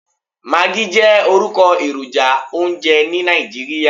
Maggi jẹ́ orúkọ èròjà oúnjẹ ní Nàìjíríà.